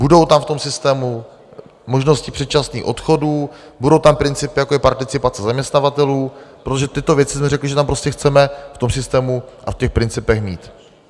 Budou tam v tom systému možnosti předčasných odchodů, budou tam principy, jako je participace zaměstnavatelů, protože tyto věci jsme řekli, že tam prostě chceme v tom systému a v těch principech mít.